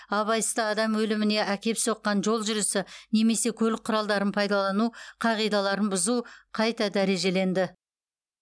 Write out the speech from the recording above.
абайсызда адам өліміне әкеп соққан жол жүрісі немесе көлік құралдарын пайдалану қағидаларын бұзу қайта дәрежеленді